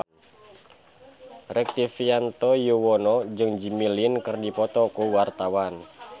Rektivianto Yoewono jeung Jimmy Lin keur dipoto ku wartawan